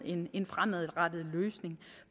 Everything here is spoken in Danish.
en fremadrettet løsning